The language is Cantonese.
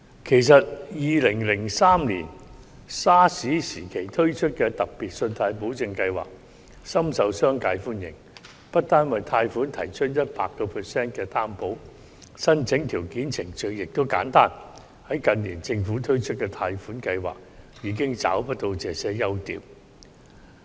其實 ，2003 年 SARS 時期推出的特別信貸保證計劃，深受商界歡迎，不單為貸款提供 100% 擔保，申請條件及程序亦簡單，反之，近年政府推出的貸款計劃已經找不到這些優點。